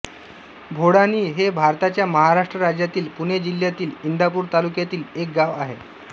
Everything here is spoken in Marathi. भोडानी हे भारताच्या महाराष्ट्र राज्यातील पुणे जिल्ह्यातील इंदापूर तालुक्यातील एक गाव आहे